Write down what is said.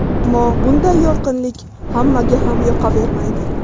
Ammo bunday yorqinlik hammaga ham yoqavermaydi.